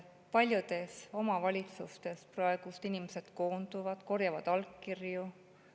Paljudes omavalitsustes praegu inimesed koonduvad, korjavad allkirju.